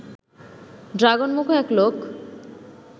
ড্রাগনমুখো এক লোক